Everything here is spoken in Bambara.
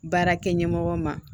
Baarakɛ ɲɛmɔgɔ ma